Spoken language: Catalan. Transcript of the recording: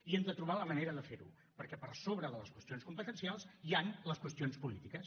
i hem de trobar la manera de ferho perquè per sobre de les qüestions competencials hi han les qüestions polítiques